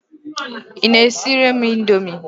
Ị na-esire m Indomie?